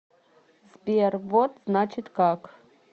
сбер вот значит как